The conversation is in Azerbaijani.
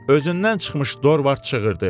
Özündən çıxmış Dorvard çığırdı.